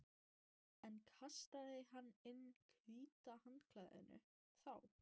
En kastaði hann inn hvíta handklæðinu þá?